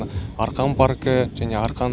арқан паркі және арқан